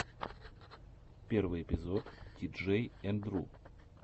первый эпизод тиджей энд ру